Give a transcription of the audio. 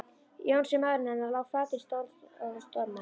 Jónsi, maðurinn hennar, lá flatur í sólstól og dormaði.